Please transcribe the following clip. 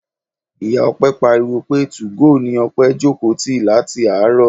Ìyá Ọpẹ pariwo pé two-go ni Ọpẹ jókòó ti láti àárọ̀.